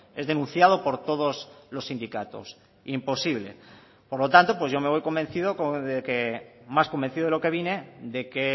es denunciado por todos los sindicatos imposible por lo tanto pues yo me voy convencido de que más convencido de lo que vine de que